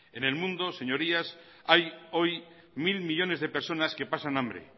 en el mundo señorías hay hoy mil millónes de personas que pasan hambre